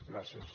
gràcies